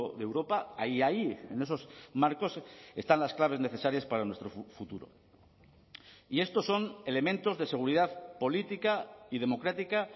de europa hay ahí en esos marcos están las claves necesarias para nuestro futuro y estos son elementos de seguridad política y democrática